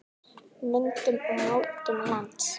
Myndun og mótun lands